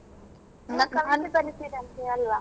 ಕವಿತೆ ಬರಿತೀರಂತೆ ಅಲ್ವಾ?